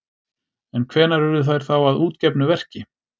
En hvenær urðu þær þá að útgefnu verki?